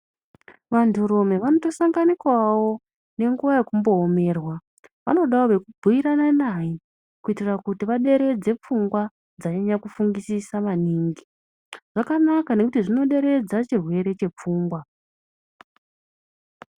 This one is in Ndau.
Vantu rume vanoto sanganikawo ne nguva yekumbo omerwa vanodawo weku bhuirana naye kuitira kuti vaderedze pfungwa dzanyanya ku fungisisa maningi zvakanaka nekuti zvino deredza chirwere che pfungwa.